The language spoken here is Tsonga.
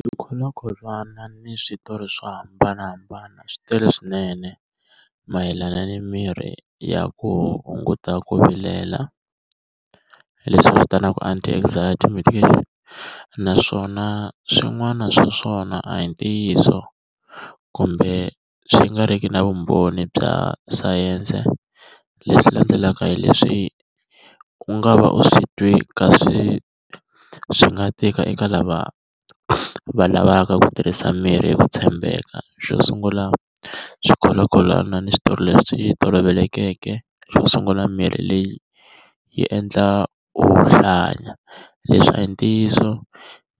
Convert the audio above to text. Swikholwakholwana ni switori swo hambanahambana swi tele swinene, mayelana ni mirhi ya ku hunguta ku vilela, leswi a swi vitanaku anti-anxiety medication. Naswona swin'wana swa swona a hi ntiyiso kumbe swi nga ri ki na vumbhoni bya sayense. Leswi landzelaka hi leswi u nga va u swi twe ka swi swi nga tika eka lava va lavaka ku tirhisa mirhi hi ku tshembeka. Xo sungula swikholwakholwana ni switori leswi tolovelekeke, xo sungula mirhi leyi yi endla u hlanya. Leswi a hi ntiyiso,